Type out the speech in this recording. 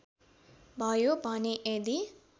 भयो भने यदि